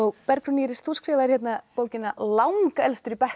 Bergrún Íris þú skrifaðir bókina Langelstur í bekknum